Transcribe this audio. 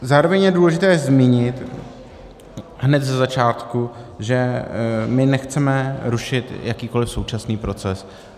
Zároveň je důležité zmínit hned ze začátku, že my nechceme rušit jakýkoliv současný proces.